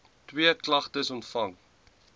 twee klagtes ontvang